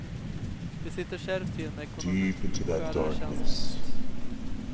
Vi sitter kärvt till med ekonomin och skär där det känns minst.